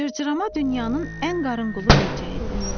Cırcırama dünyanın ən qarınqulu böcəyidir.